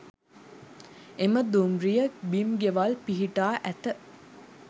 එම දුම්රිය බිම් ගෙවල් පිහිටා ඇත